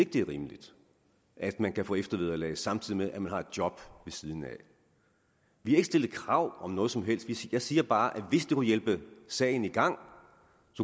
det er rimeligt at man kan få eftervederlag samtidig med at man har et job vi har ikke stillet krav om noget som helst jeg siger bare at hvis det kunne hjælpe sagen i gang